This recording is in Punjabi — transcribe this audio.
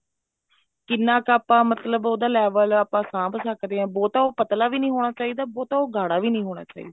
ਕਿੰਨਾ ਕੁ ਆਪਾਂ ਮਤਲਬ ਉਹਦਾ level ਆਪਾਂ ਸਾਂਭ ਸਕਦੇ ਹਾਂ ਬਹੁਤਾ ਉਹ ਪਤਲਾ ਵੀ ਨੀ ਹੋਣਾ ਚਾਹੀਦਾ ਬਹੁਤਾ ਉਹ ਗਾੜ੍ਹਾ ਵੀ ਨਹੀਂ ਹੋਣਾ ਚਾਹੀਦਾ